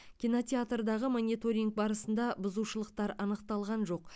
кинотеатрдағы мониторинг барысында бұзушылықтар анықталған жоқ